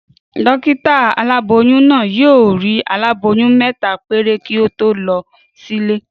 Dókítà aláboyún náà yóò rí aláboyún mẹ́ta péré kí ó tó lọ sílé